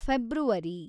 February